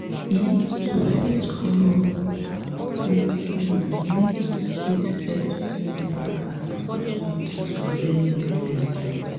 um to fit grow we um need to see set um backs as opportunity to learn new lessons